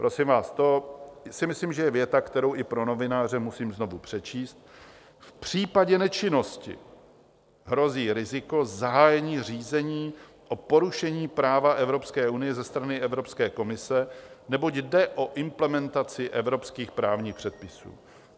Prosím vás, to si myslím, že je věta, kterou i pro novináře musím znovu přečíst: "V případě nečinnosti hrozí riziko zahájení řízení o porušení práva Evropské unie ze strany Evropské komise, neboť jde o implementaci evropských právních předpisů."